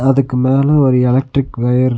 இதுக்கு மேல ஒரு எலக்ட்ரிக் ஒயர்ரு --